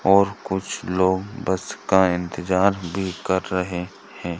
और कुछ लोग बस का इंतज़ार भी कर रहे है।